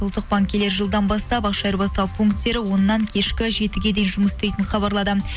ұлттық банк келер жылдан бастап ақша айырбастау пунктері оннан кешкі жетіге дейін жұмыс істейтінін хабарлады